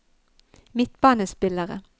midtbanespillere